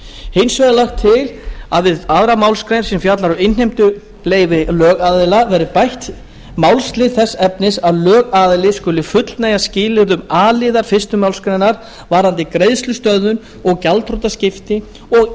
hins vegar er lagt til að við aðra málsgrein sem fjallar um innheimtuleyfi lögaðila verði bætt málslið þess efnis að lögaðili skuli fullnægja skilyrðum a liðar fyrstu málsgrein varðandi greiðslustöðvun og gjaldþrotaskipti og